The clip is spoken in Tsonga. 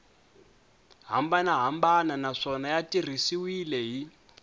hambanahambana naswona ya tirhisiwile hi